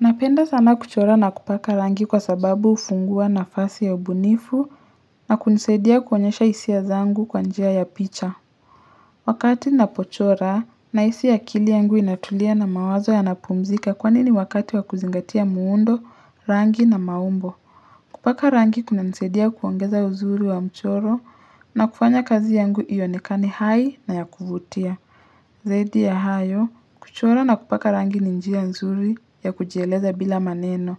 Napenda sana kuchora na kupaka rangi kwa sababu hufungua nafasi ya ubunifu na kunisaidia kuonyesha hisia zangu kwa njia ya picha. Wakati ninapochora nahisi akili yangu inatulia na mawazo yanapumzika kwani ni wakati wa kuzingatia muundo, rangi na maumbo. Kupaka rangi kunanisaidia kuongeza uzuri wa mchoro na kufanya kazi yangu ionekane hai na ya kuvutia. Zaidi ya hayo, kuchora na kupaka rangi ni njia nzuri ya kujieleza bila maneno.